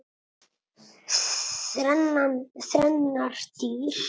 Þrennar dyr.